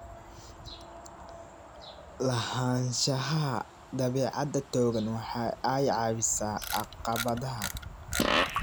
Lahaanshaha dabeecad togan waxa ay caawisaa caqabadaha.